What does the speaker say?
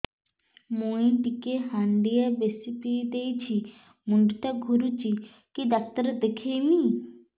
ମୁଇ ଟିକେ ହାଣ୍ଡିଆ ବେଶି ପିଇ ଦେଇଛି ମୁଣ୍ଡ ଟା ଘୁରୁଚି କି ଡାକ୍ତର ଦେଖେଇମି